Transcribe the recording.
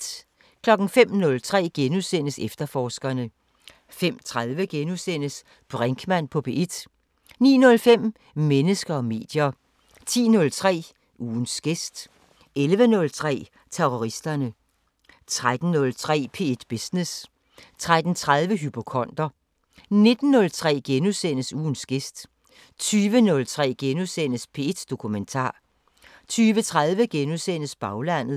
05:03: Efterforskerne * 05:30: Brinkmann på P1 * 09:05: Mennesker og medier 10:03: Ugens gæst 11:03: Terroristerne 13:03: P1 Business 13:30: Hypokonder 19:03: Ugens gæst * 20:03: P1 Dokumentar * 20:30: Baglandet *